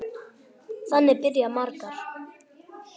Þannig byrja margar.